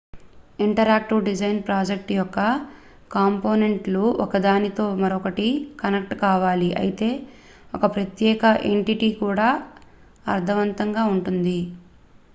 interactive design project యొక్క కాంపోనెంట్ లు ఒకదానితో మరొకటి కనెక్ట్ కావాలి అయితే ఒక ప్రత్యేక ఎంటిటీగా కూడా అర్ధవంతంగా ఉంటుంది